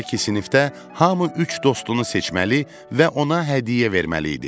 Belə ki, sinifdə hamı üç dostunu seçməli və ona hədiyyə verməli idi.